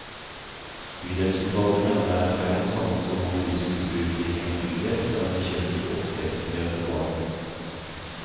Bydelsutvalget mener det er feil å samle så mange rusmisbrukere i én bydel, og er bekymret for oppvekstmiljøet for barn og unge.